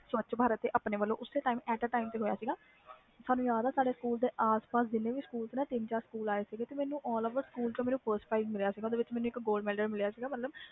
ਸਵੱਚ ਭਾਰਤ ਤੇ ਆਪਣੇ ਵਲੋਂ ਓਸੇ time ਤੇ ਹੋਇਆ ਸੀ ਸਾਨੂ ਯਾਦ ਆ ਸਾਡੇ ਆਸ ਪਾਸ ਦੇ ਜਿੰਨੇ ਵੀ ਸਕੂਲ ਆ ਤਿੰਨ ਚਾਰ ਸਕੂਲ ਆਏ ਸੀ ਸਾਰੇ ਸਕੂਲ ਵਿੱਚੋ ਮੈਨੂੰ frist prize ਮਿਲਿਆ ਸੀ ਮਤਲਬ gold medal ਮਿਲਿਆ ਸੀ